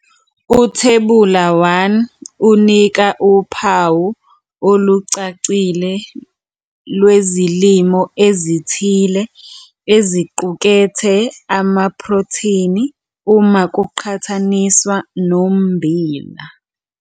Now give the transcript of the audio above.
Uthebula 1 unika uphawu olucacile lwezilimo ezithile eziqukethe amaphrotheni uma kuqhathaniswa nommbila.